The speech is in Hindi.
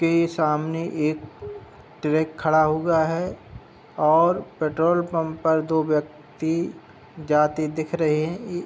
उनके सामने एक ट्रैक खड़ा हुआ है और पेट्रोल पंप पर दो व्यक्ति जाते दिख रहे हैं।